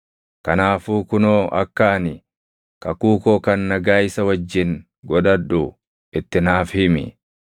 Kanaafuu kunoo akka ani kakuu koo kan nagaa isa wajjin godhadhu itti naaf himi.